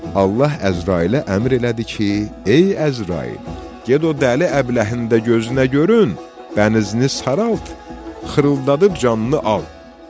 Allah Əzrailə əmr elədi ki, ey Əzrail, get o dəli əbləhinin də gözünə görün, bənizini saralt, xırıldadıb canını al.